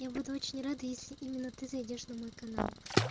я буду очень рада если именно ты зайдёшь на мой канал